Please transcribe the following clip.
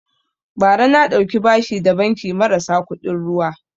Bara na ɗauki bashi da banki marasa kuɗin ruwa